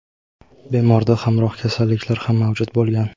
bemorda hamroh kasalliklar ham mavjud bo‘lgan.